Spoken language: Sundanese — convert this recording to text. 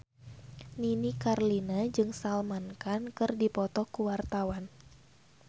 Nini Carlina jeung Salman Khan keur dipoto ku wartawan